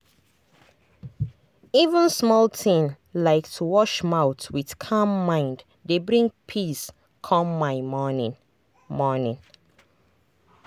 even small thing like to wash mouth with calm mind dey bring peace come my morning. morning.